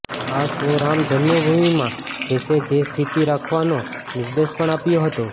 આ સો રામ જન્મભૂમિમાં જેસે થે સ્થિતિ રાખવાનો નિર્દેશ પણ આપ્યો હતો